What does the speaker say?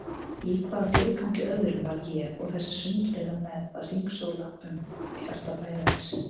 Í hvaða tilgangi öðrum var ég og þessi sundurleita mergð að hringsóla um hjarta bæjarins?